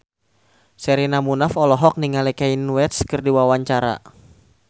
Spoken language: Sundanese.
Sherina Munaf olohok ningali Kanye West keur diwawancara